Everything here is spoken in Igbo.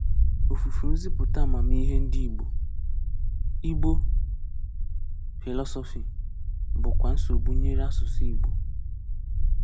Ọfùfù nzìpụ̀tà àmàmíhè ndị Ìgbò (Igbo philosophy) bụ̀kwa nsogbu nyere asụ̀sụ́ Ìgbò.